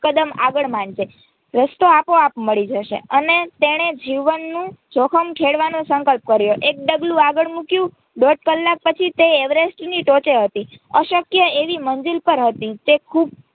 કદમ આગળ માંડજે રસ્તો આપોઆપ મળી જશે અને તેણે જીવનનું જોખમ ખેડવાનો સંકલ્પ કર્યો એક ડગલું આગળ મૂક્યું દોઢ કલાક પછી તે એવેરેસ્ટની ટોચે હતી અશક્ય એવી મંજિલ પર હતી તે ખુબ